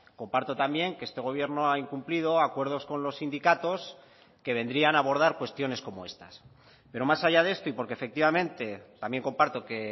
comparto también que este gobierno ha incumplido acuerdos con los sindicatos que vendrían abordar cuestiones como estas pero más allá de esto y porque efectivamente también comparto que